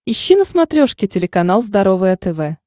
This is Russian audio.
ищи на смотрешке телеканал здоровое тв